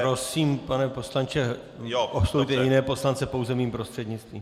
Prosím, pane poslanče, oslovujte jiné poslance pouze mým prostřednictvím.